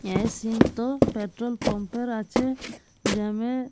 এই সিন্ তো petrol pump এর আছে। যামে ।